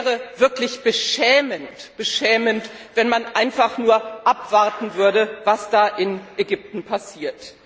Es wäre wirklich beschämend, wenn man einfach nur abwarten würde, was in Ägypten passiert.